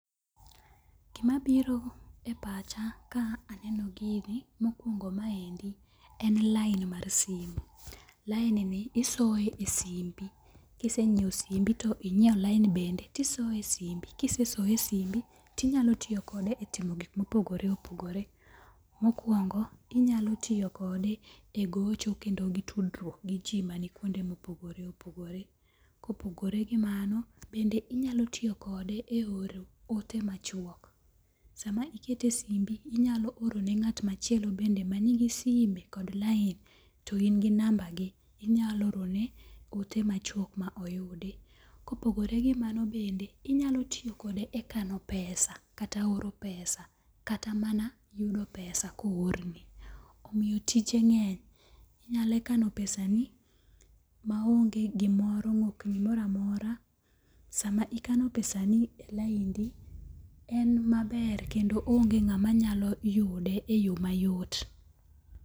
Gima biro e pacha ka aneno gini mokwongo maendi en lain mar simo. Lain ni isoye e simbi. Kisenyiew simbi to inyiew line bende tisoye e simbi. Kisesoye e simbi tinyalo tiyokode e timo gik mopogore opogore. Mokwongo inyalo tiyokode e gocho kendo gi tudruok gi ji maikuonde ma opogore opogore. Kopogore gi mano bende inyalo tiyokode e oro ote machuok. Sama ikete e simbi inyalo oro ne ng'at machielo bende man gi sime kod lain to in gi namba gi inyalo orone ote machuok ma oyudi. Kopogore gi mano bende, inyalo tiyokode e kano pesa kata oro pesa kata mana yudo pesa ko o or ni. Omiyo tije ng'eny. Inyalo kano pesani, maonge gomoro mok gimoro amora. Sama ikano pesani e laindi, en maber kendo onge ng'ama nya yude e yo mayot.